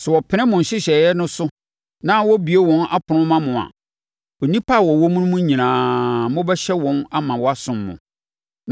Sɛ wɔpene mo nhyehyɛeɛ no so na wɔbue wɔn apono ma mo a, nnipa a wɔwɔ mu no nyinaa, mobɛhyɛ wɔn ama wɔasom mo.